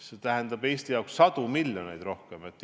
See tähendab Eesti jaoks sadu miljoneid suuremat kulu.